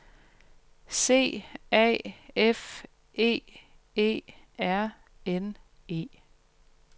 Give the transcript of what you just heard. C A F É E R N E